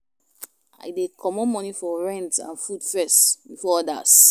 I dey comot moni for rent and food first before odas.